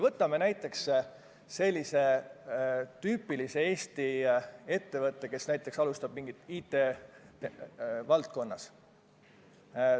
Võtame näiteks tüüpilise Eesti ettevõtte, kes näiteks alustab mingit tegevust IT-valdkonnas.